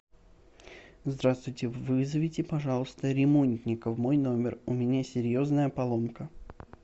здравствуйте вызовите пожалуйста ремонтника в мой номер у меня серьезная поломка